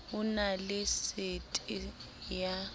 ho na le sete ya